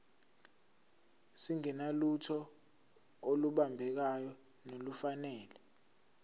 singenalutho olubambekayo nolufanele